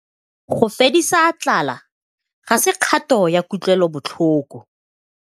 Go fedisa tlala ga se kgato ya kutlwelobotlhoko.